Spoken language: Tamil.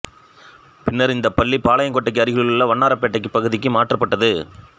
பின்னர் இந்தப் பள்ளி பாளையங்கோட்டைக்கு அருகிலுள்ள வண்ணாரப்பேட்டை பகுதிக்கு மாற்றப்பட்டது